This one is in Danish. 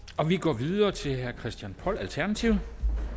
og vi går videre til herre christian poll alternativet